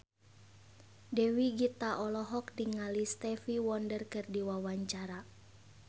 Dewi Gita olohok ningali Stevie Wonder keur diwawancara